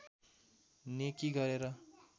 नेकी गरेर